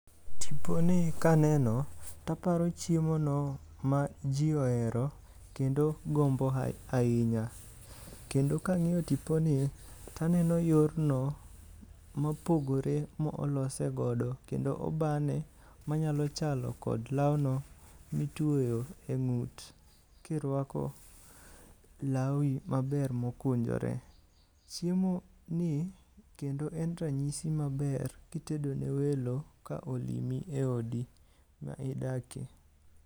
Tiponi ka neno taparo chiemono maji ohero kendo gombo ahinya. Kendo kang'iyo tiponi, taneno yorno mopogore molose godo. Kendo obane manyalo chalo kod lawno mitweyo e ng'ut kirwako lawi maber mokunjore. Chiemoni kendo en ranyisi maber kitedo ne welo ka olimi eodi ma idakie.